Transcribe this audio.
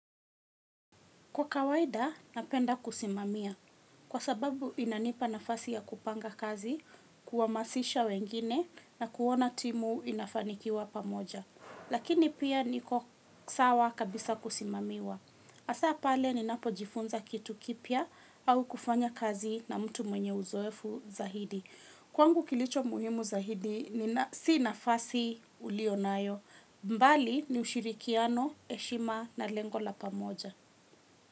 Kwa kawaida, napenda kusimamia kwa sababu inanipa nafasi ya kupanga kazi, kuhamasisha wengine na kuona timu inafanikiwa pamoja. Lakini pia niko sawa kabisa kusimamiwa. Hasa pale ninapojifunza kitu kipya au kufanya kazi na mtu mwenye uzoefu zaidi. Kwangu kilicho muhimu zaidi, si nafasi ulionayo, mbali ni ushirikiano, heshima na lengo la pamoja.